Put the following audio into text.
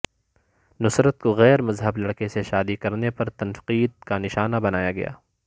نصرت کو غیر مذہب لڑکے سے شادی کرنے پر تنقید کا نشانہ بنایا گیا